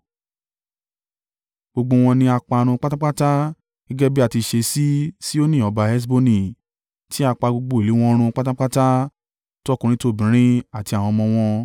Gbogbo wọn ni a parun pátápátá gẹ́gẹ́ bí á ti ṣe sí Sihoni ọba Heṣboni, tí a pa gbogbo ìlú wọn run pátápátá: tọkùnrin tobìnrin àti àwọn ọmọ wọn.